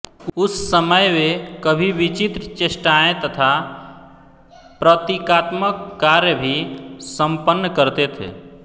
उस समय वे कभी विचित्र चेष्टाएँ तथा प्रतीकात्मक कार्य भी संपन्न करते थे